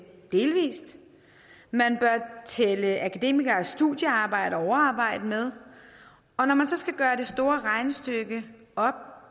delvist og tælle akademikeres studiearbejde og overarbejde med og når man så skal gøre det store regnestykke op